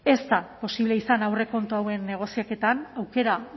ez da posible izan aurrekontu hauen negoziaketan aukera